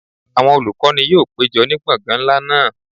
Awọn olukọni yoo pejọ ni gbọngan nla naa